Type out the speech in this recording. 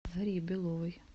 дарье беловой